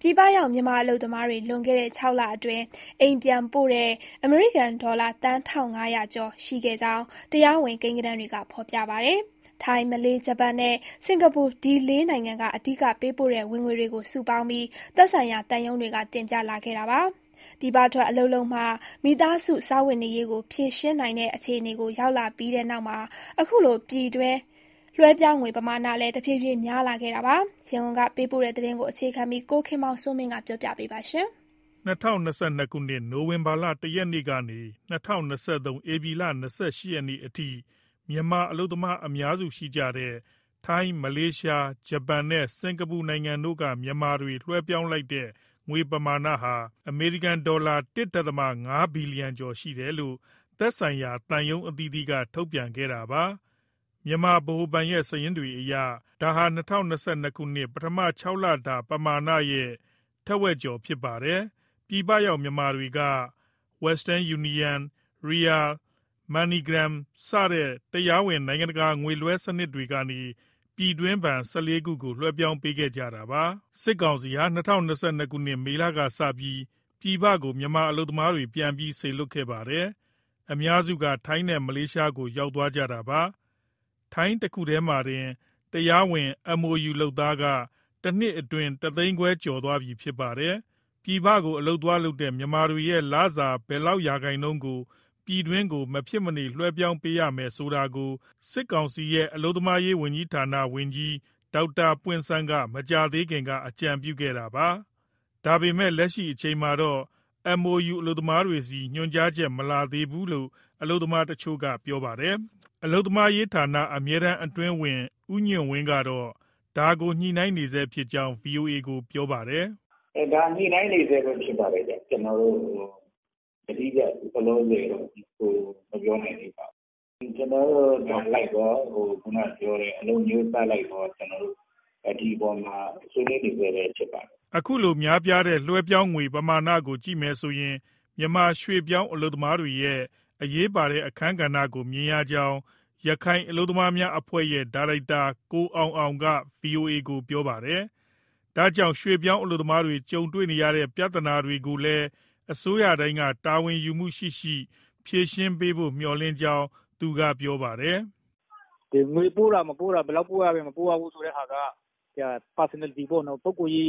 ပြည်ပရောက် မြန်မာအလုပ်သမားတွေ လွန်ခဲ့တဲ့ ၆ လအတွင်း အိမ်ပြန်ပို့တဲ့ အမေရိကန်ဒေါ်လာ သန်း ၁,၅၀၀ကျော် ရှိခဲ့ကြောင်း တရားဝင် ကိန်းဂဏန်းတွေက ဖော်ပြပါတယ်။ ထိုင်း၊ မလေးရှား၊ ဂျပန်နဲ့ စင်္ကာပူ လေးနိုင်ငံက အဓိကပေးပို့တဲ့ ဝင်ငွေတွေကို စုပေါင်းပြီး သက်ဆိုင်ရာသံရုံးတွေက တင်ပြလာခဲ့တာပါ။ ပြည်ပထွက် အလုပ်လုပ်မှ မိသားစု စားဝတ်နေရေးကို ဖြေရှင်းနိုင်တဲ့အခြေကို ရောက်လာပြီးတဲ့နောက်မှာ အခုလို ပြည်တွင်း လွှဲပြောင်းငွေ ပမာမဏလည်း တဖြည်းဖြည်း များလာခဲ့တာပါ။ ရန်ကုန်ပေးပို့တဲ့ သတင်းကိုအခြေခံပြီး ကိုခင်မောင်စိုးမင်းက ပြောပြမှာပါ။ ၂၀၂၂ နိုဝင်ဘာ ၁ရက်ကနေ၊ ၂၀၂၃ ဧပြီလ ၂၈ရက်အထိ မြန်မာအလုပ်သမား အများစုရှိတဲ့ ထိုင်း၊ မလေးရှား၊ ဂျပန်နဲ့ စင်္ကာပူနိုင်ငံတို့က မြန်မာတွေ လွှဲပြောင်းလိုက်တဲ့ ငွေပမာဏဟာ အမေရိကန်ဒေါ်လာ ၁.၅ဘီလီယံကျော် ရှိတယ်လို့ သက်ဆိုင်ရာ သံရုံးအသီးသီးက ထုတ်ပြန်ခဲ့တာပါ။ မြန်မာဗဟိုဘဏ်ရဲ့ စာရင်းတွေအရ ဒါဟာ ၂၀၂၂ ပထမ ခြောက်လတာ ပမာဏရဲ့ ထက်ဝက်ကျော် ဖြစ်ပါတယ်။ ပြည်ပရောက် မြန်မာတွေက Western Union ၊ Ria ၊ Money Gram စတဲ့ တရားဝင် နိုင်ငံတကာ ငွေလွှဲစနစ်တွေကနေ ပြည်တွင်းဘဏ် ၁၄ခုကို လွှဲပြောင်းပေးခဲ့ကြတာပါ။ စစ်ကောင်စီဟာ ၂၀၂၂ မေလကစပြီး ပြည်ပကို မြန်မာအလုပ်သမားတွေ ပြန်ပြီးစေလွှတ်ခဲ့ပါတယ်။ အများစုက ထိုင်းနဲ့ မလေးရှားကို ရောက်သွားကြတာပါ။ ထိုင်းတခုတည်းမှာတင် တရားဝင် MoU လုပ်သားက တနှစ်အတွင်း တသိန်းခွဲကျော်သွားပြီ ဖြစ်ပါတယ်။ ပြည်ပကို အလုပ်သွားလုပ်တဲ့ မြန်မာတွေရဲ့လစာ ဘယ်လောက်ရာခိုင်နှုန်းကို ပြည်တွင်းကို မဖြစ်မနေ လွှဲပြောင်းပေးရမယ် ဆိုတာကို စစ်ကောင်စီရဲ့ အလုပ်သမားရေးဝန်ကြီးဌာန ဝန်ကြီး ဒေါက်တာပွင့်ဆန်းက မကြာသေးခင်က အကြံပြုခဲ့ပါတယ်။ ဒါပေမဲ့ လက်ရှိအချိန်အထိတော့ MoU အလုပ်သမားတွေဆီ ညွှန်ကြားချက် မလာသေးဘူးလို့ မြန်မာအလုပ်သမားတချို့က ပြောပါတယ်။ အလုပ်သမားရေးဌာန အမြဲတမ်းအတွင်းဝန် ဦးညွှန့်ဝင်းကတော့ ဒါကို ညှိနှိုင်းနေဆဲဖြစ်ကြောင်း ဗွီအိုအေကို ပြောပါတယ်။ "ဒါ ညှိနှိုင်းနေဆဲပဲ ဖြစ်ပါတယ်ဗျ။ ကျနော်တို့ ယတိပြတ်လောလောဆယ် မပြောနိုင်သေးပါဘူး။ ညှိနှိုင်းနေဆဲဆိုတော့ နိုင်ငံအလိုက်ရော၊ အလုပ် အမျိုးအစားအလိုက်ရော ဒီအပေါ်မှာ ဆွေးနွေးနေဆဲပဲ ဖြစ်ပါတယ်။" အခုလို များပြားတဲ့ လွှဲပြောင်းငွေပမာဏကို ကြည့်မယ်ဆိုရင် မြန်မာရွှေ့ပြောင်း အလုပ်သမားတွေရဲ့ အရေးပါတဲ့ အခန်းကဏ္ဍကို မြင်ရကြောင်း ရခိုင်အလုပ်သမားများအဖွဲ့ရဲ့ ဒါရိုက်တာ ကိုအောင်အောင်က ဗွီအိုအေကို ပြောပါတယ်။ ဒါကြောင့် ရွှေ့ပြောင်းအလုပ်သမားတွေ ကြုံနေရတဲ့ ပြဿနာတွေကိုလည်း အစိုးရတိုင်းက တာဝန်ယူမှုရှိရှိ ဖြေရှင်းပေးရေး မျှော်လင့်ကြောင်း သူက ပြောပါတယ်။ "ငွေပို့တာ၊ မပို့တာ၊ ဘယ်လောက်ပို့ရတယ် ဆိုတဲ့ဟာက ပုဂ္ဂိုလ်ရေး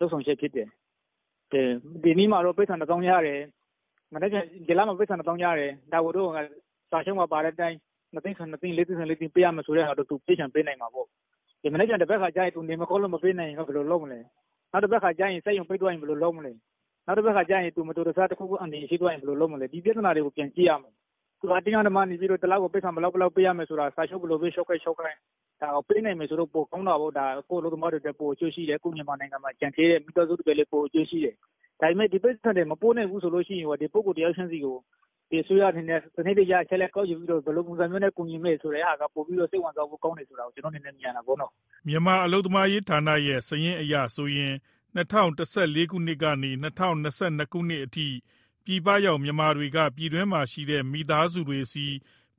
လုပ်ဆောင်ချက်ဖြစ်တယ်။ ဒီလပိုက်ဆံတသောင်းရတယ်၊ ဒါကို စာချုပ်ပါအတိုင်း ၂သိန်းဆို ၂သိန်း၊ ၄သိန်းဆို၄သိန်း ပေးရမယ်ဆိုတဲ့ဟာ သူပေးချင်မှ ပေးနိုင်မှာပေါ့။ မနက်ဖြန်၊ သန်ဘက်ခါ သူနေမကောင်းလို့ မပေးနိုင်ရင် ဘယ်လိုလုပ်မလဲ။ နောက် စက်ရုံပိတ်သွားရင် ဘယ်လိုလုပ်မလဲ။ နောက် သူမတော်တဆ တခုခု အန္တရာယ်ရှိသွားရင် ဘယ်လိုလုပ်မလဲ။ ဒီပြဿနာတွေကို ပြန်ကြည့်ရမယ်။ အတင်းအဓမ္မ တလကို ပိုက်ဆံဘယ်လောက် ပေးရမယ်ဆိုတာ စာချုပ် ဘယ်လိုပဲ ချုပ်ခဲ့ချုပ်ခဲ့၊ ပေးနိုင်ရင်တော့ ပိုကောင်းတာပေါ့။ ကိုယ့်အလုပ်သမားတွေအတွက် ပိုအကျိုးရှိတယ်၊ ကိုယ့်မြန်မာနိုင်ငံမှာ ကျန်ခဲ့တဲ့ မိသားစုတွေလည်း အကျိုးရှိတယ်။ ဒါပေမဲ့ ဒီပိုက်ဆံတွေ မပို့နိုင်ဘူး ဆိုရင်ရော ဒီပုဂ္ဂိုလ် တယောက်ချင်းစီကို အစိုးရအနေနဲ့ အချက်အလက် စနစ်တကျကောက်ယူပြီး ဘယ်လိုပုံမျိုး ကူညီမလဲဆိုတာ ပိုပြီး စိတ်ဝင်စားဖို့ကောင်းတယ် ဆိုတာ ကျနော့အနေနဲ့ မြင်ရတယ်။" မြန်မာအလုပ်သမားရေးဌာနရဲ့ စာရင်းအရဆိုရင် ၂၀၁၄ကနေ ၂၀၂၂ အထိ ပြည်ပရောက်မြန်မာတွေက ပြည်တွင်းမှာရှိတဲ့ မိသားစုတွေဆီ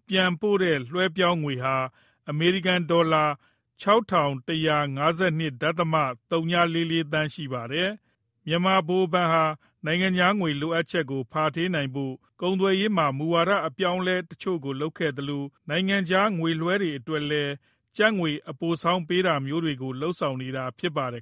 ပြန်ပို့တဲ့ လွှဲပြောင်းငွေဟာ အမေရိကန်ဒေါ်လာ ၆၁၅၂.၀၄၄ သန်းရှိပါတယ်။ မြန်မာဗဟိုဘဏ်ဟာ နိုင်ငံခြားငွေ လိုအပ်ချက်ကို ဖာထေးနိုင်ဖို့ ကုန်သွယ်ရေးမှာ မူဝါဒ အပြောင်းအလဲတချို့ကို လုပ်ခဲ့သလို နိုင်ငံခြားငွေလွှဲတွေ အတွက်လည်း ကျပ်ငွေ အပိုဆောင်းပေးတာမျိုးတွေကို လုပ်ဆောင်နေတာ ဖြစ်ပါတယ်